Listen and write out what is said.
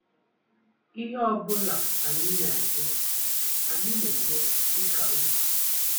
Ihe ọ bụla anyị na-eme, anyị na-eme dị ka otu.